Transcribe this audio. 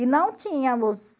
E não tínhamos...